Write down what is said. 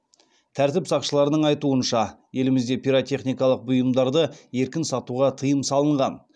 тәртіп сақшыларының айтуынша елімізде пиротехникалық бұйымдарды еркін сатуға тыйым салынған